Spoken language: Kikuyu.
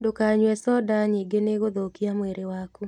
Ndũkanyue conda nyingĩnĩĩgũthũkia mwĩrĩwaku.